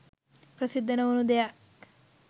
ප්‍රසිද්ධ නොවුණු දෙයක්